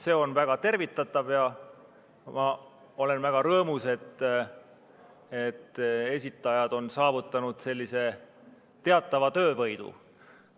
See on väga tervitatav ja ma olen väga rõõmus, et esitajad on saavutanud teatava töövõidu.